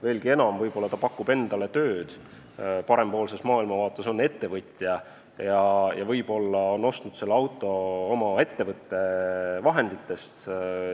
Veelgi enam, võib-olla ta pakub endale tööd – on parempoolse maailmavaatega ettevõtja – ja võib-olla on ta ostnud selle auto oma ettevõtte vahendite eest.